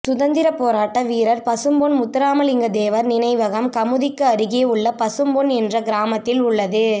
சுதந்திரப் போராட்ட வீரர் பசும்பொன் முத்துராமலிங்கத் தேவர் நினைவகம் கமுதிக்கு அருகே உள்ள பசும்பொன் என்ற கிராமத்தில் உள்ளது